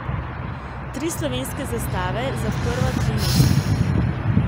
Tri slovenske zastave za prva tri mesta.